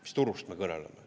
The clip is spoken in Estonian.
Mis turust me kõneleme?